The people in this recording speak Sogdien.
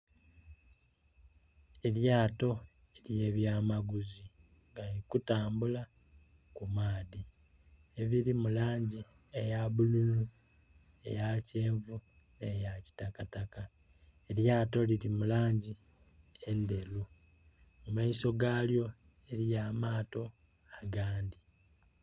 Elyato elya byamaguzi nga liri kutambula ku maadhi, eriri mu lang eya bululu, eya kyenvu, eya kitakataka. Eryato riri mulangi enderu mu maiso galyo eriyo amaato agandhi.